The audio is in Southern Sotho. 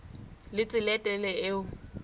le tsela e telele eo